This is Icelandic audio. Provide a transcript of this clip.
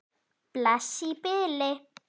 Bless í bili.